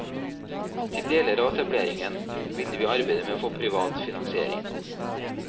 Til deler av etableringen ville vi arbeide med å få privat finansiering.